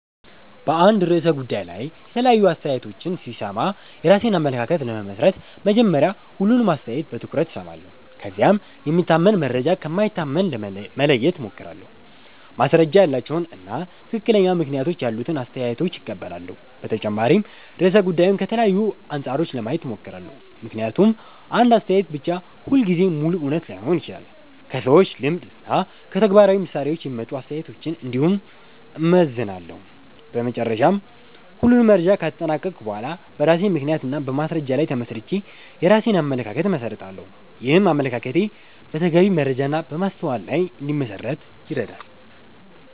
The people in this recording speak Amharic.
በአንድ ርዕሰ ጉዳይ ላይ የተለያዩ አስተያየቶችን ሲሰማ የራሴን አመለካከት ለመመስረት መጀመሪያ ሁሉንም አስተያየት በትኩረት እሰማለሁ። ከዚያም የሚታመን መረጃ ከማይታመን መለየት እሞክራለሁ፣ ማስረጃ ያላቸውን እና ትክክለኛ ምክንያቶች ያሉትን አስተያየቶች እቀበላለሁ። በተጨማሪም ርዕሰ ጉዳዩን ከተለያዩ አንጻሮች ለማየት እሞክራለሁ፣ ምክንያቱም አንድ አስተያየት ብቻ ሁልጊዜ ሙሉ እውነት ላይሆን ይችላል። ከሰዎች ልምድ እና ከተግባራዊ ምሳሌዎች የሚመጡ አስተያየቶችን እንዲሁም እመዘንላለሁ። በመጨረሻ ሁሉንም መረጃ ካጠናቀቅሁ በኋላ በራሴ ምክንያት እና በማስረጃ ላይ ተመስርቼ የራሴን አመለካከት እመሰርታለሁ። ይህም አመለካከቴ በተገቢ መረጃ እና በማስተዋል ላይ እንዲመሠረት ይረዳል።